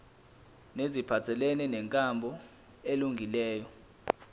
neziphathelene nenkambo elungileyo